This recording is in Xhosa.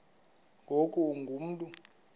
ngoku ungu mntu